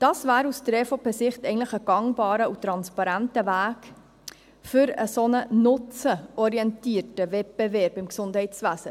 Dies wäre aus EVPSicht ein gangbarer und transparenter Weg für einen solch nutzenorientierten Wettbewerb im Gesundheitswesen.